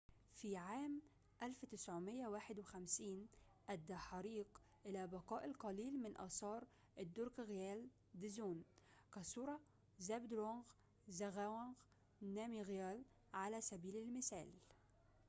في عام 1951 أدى حريق إلى بقاء القليل من آثار الدروكغيال دزون كصورة زابدرونغ زغاوانغ نامغيال على سبيل المثال